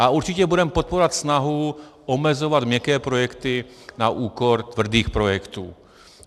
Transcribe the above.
A určitě budeme podporovat snahu omezovat měkké projekty na úkor tvrdých projektů.